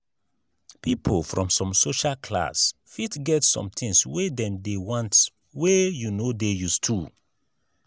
people from some social class fit get some things wey dem dey want wey you no dey used too